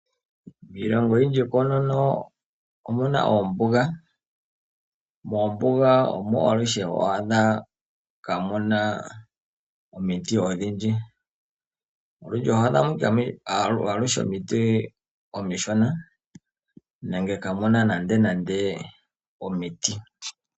Miilongo oyindji koonono omuna oombuga . Moombuga omo aluhe kaamuna omiti odhindji . Olundji oho adhamo omiti omishona nenge kaamuna nandenande omiti .